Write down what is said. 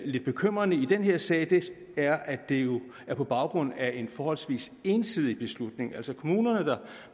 lidt bekymrende i den her sag er at det jo er på baggrund af en forholdsvis ensidig beslutning altså kommuner der